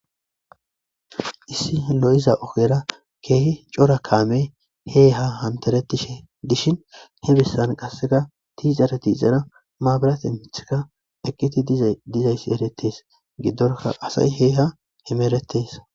Issi lo'iza ogera kehi cora kameyi he ha haniteretishe dishshinni he besanni qasekka tixara tixara mabirate miththayi eqqid dizayiss eretees.gidora asayi he haa hemeretees.